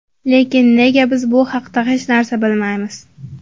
Lekin nega biz bu haqda hech narsa bilmaymiz?